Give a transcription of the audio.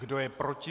Kdo je proti?